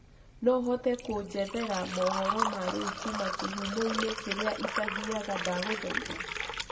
no uhote kunjethera mohoro ma riu kũma kihũmo ini kĩria itathiaga ndagũthaĩtha